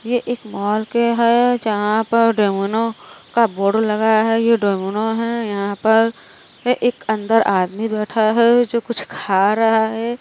ये एक मॉल के है। जहाँ पर डेमोनो का बोर्ड लगा है। ये डेमोनो है। यहाँ पर एक अंदर आदमी बैठा है जो कुछ खा रहा है।